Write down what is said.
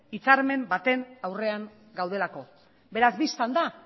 hitzarmen baten aurrean gaudelako beraz bistan da